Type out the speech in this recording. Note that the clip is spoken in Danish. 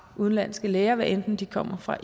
udenlandske læger hvad enten de kommer fra